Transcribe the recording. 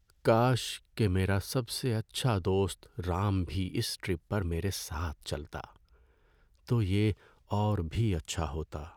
کاش کہ میرا سب سے اچھا دوست رام بھی اس ٹرپ پر میرے ساتھ چلتا۔ تو یہ اور بھی اچھا ہوتا۔